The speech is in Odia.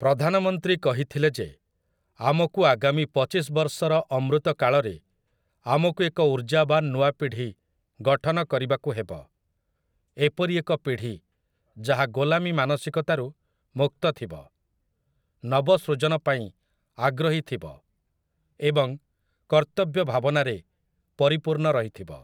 ପ୍ରଧାନମନ୍ତ୍ରୀ କହିଥିଲେ ଯେ ଆମକୁ ଆଗାମୀ ପଚିଶ ବର୍ଷର ଅମୃତ କାଳରେ ଆମକୁ ଏକ ଊର୍ଜାବାନ ନୂଆପିଢ଼ି ଗଠନ କରିବାକୁ ହେବ, ଏପରି ଏକ ପିଢ଼ି ଯାହା ଗୋଲାମୀ ମାନସିକତାରୁ ମୁକ୍ତ ଥିବ, ନବସୃଜନ ପାଇଁ ଆଗ୍ରହୀ ଥିବ ଏବଂ କର୍ତ୍ତବ୍ୟ ଭାବନାରେ ପରିପୂର୍ଣ୍ଣ ରହିଥିବ ।